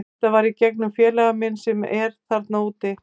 Þetta var í gegnum félaga minn sem er þarna úti.